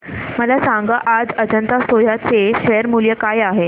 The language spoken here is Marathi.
मला सांगा आज अजंता सोया चे शेअर मूल्य काय आहे